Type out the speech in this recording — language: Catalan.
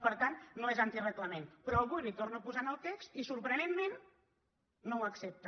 per tant no és anti reglament però avui li ho torno a posar en el text i sorprenentment no m’ho accepta